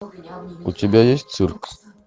у тебя есть цирк